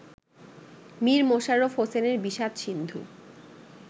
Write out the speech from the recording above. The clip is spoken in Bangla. মীর মশাররফ হোসেনের বিষাদ-সিন্ধু